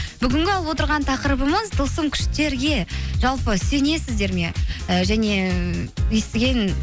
бүгінгі алып отырған тақырыбымыз тылсым күштерге жалпы сенесіздер ме і және ыыы естіген